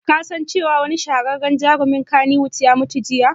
Ka san cewa wani shahararren jarumin kannywood ya mutu jiya?